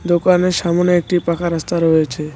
দোকানের সামোনে একটি পাকা রাস্তা রয়েছে।